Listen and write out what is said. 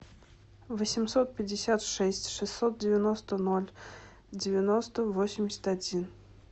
восемьсот пятьдесят шесть шестьсот девяносто ноль девяносто восемьдесят один